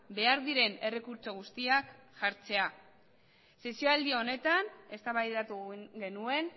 behar diren errekurtso guztiak jartzea sesioaldi honetan eztabaidatu genuen